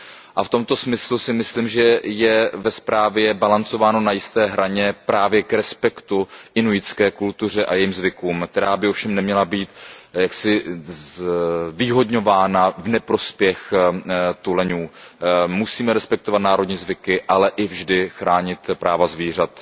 A v tomto smyslu si myslím, že je ve zprávě balancováno na určité hraně právě v otázce respektu k inuitské kultuře a jejím zvykům, která by ovšem neměla být zvýhodňována v neprospěch tuleňů. Musíme respektovat národní zvyky, ale i vždy chránit práva zvířat.